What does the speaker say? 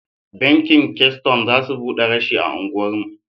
Banki keystone za su buɗe rashi a anguwar mu.